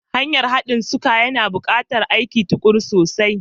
Hanyar haɗin suka, yana buƙatar aikin tuƙuru sosai.